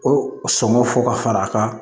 O sɔmɔ fɔ ka fara a kan